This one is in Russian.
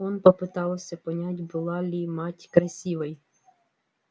он попытался понять была ли мать красивой